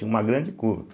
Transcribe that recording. Tinha uma grande curva.